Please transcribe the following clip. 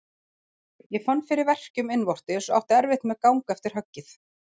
Ég fann fyrir verkjum innvortis og átti erfitt með gang eftir höggið.